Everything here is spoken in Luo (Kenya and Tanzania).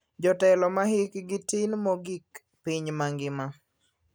Jotelo ma hikgi tin mogik piny mangima.